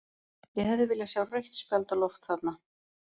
Ég hefði viljað sjá rautt spjald á loft þarna.